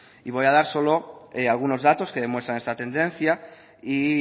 y voy a dar solo algunos datos que demuestran esta tendencia y